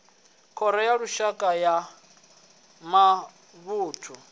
khoro ya lushaka ya mavunḓu